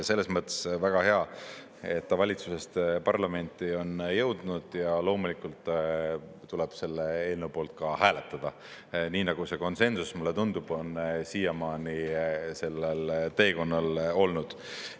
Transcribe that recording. Selles mõttes on väga hea, et ta valitsusest parlamenti on jõudnud ja loomulikult tuleb selle eelnõu poolt hääletada, nii nagu see konsensus, mulle tundub, on siiamaani sellel teekonnal olnud.